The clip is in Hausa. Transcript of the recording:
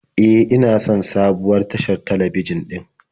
E, ina son sabuwar tashar talabijin din